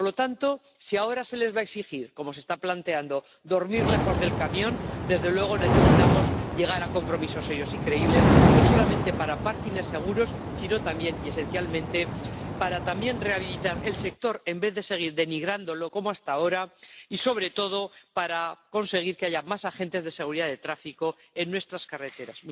Por lo tanto, si ahora se les va a exigir, como se está planteando, dormir lejos del camión, desde luego necesitamos llegar a compromisos serios y creíbles, no solamente sobre aparcamientos seguros, sino también y esencialmente para rehabilitar el sector, en vez de seguir denigrándolo como hasta ahora, y, sobre todo, para conseguir que haya más agentes de seguridad de tráfico en nuestras carreteras.